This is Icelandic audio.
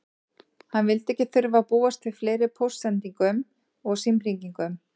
Hann vildi ekki þurfa að búast við fleiri póstsendingum og símhringingum.